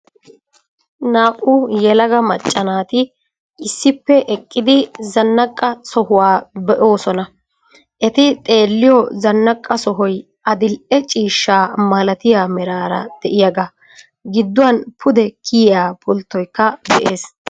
Naa"u yelaga macca naati issippe eqqidi zanaqqa sohuwa be'oosona. Eti xeelliyo zanqqa sohoy adil"e ciishshaa malatiya meraara de'iyagaa, gidduwan pude kiyiya pulttoykka de'ees.